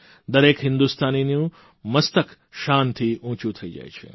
દરેક હિંદુસ્તાનીનું મસ્તક શાનથી ઉંચું થઇ જાય છે